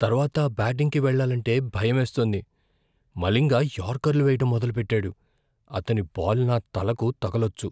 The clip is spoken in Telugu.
తర్వాత బ్యాటింగ్‌కి వెళ్లాలంటే భయమేస్తోంది. మలింగ యార్కర్లు వేయడం మొదలుపెట్టాడు, అతని బాల్ నా తలకు తగిలొచ్చు.